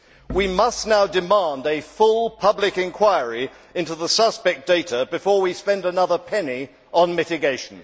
We must now demand a full public inquiry into the suspect data before we spend another penny on mitigation.